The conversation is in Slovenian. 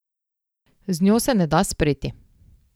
Z njo se ne da spreti.